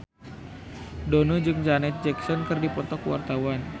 Dono jeung Janet Jackson keur dipoto ku wartawan